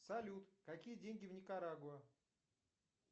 салют какие деньги в никарагуа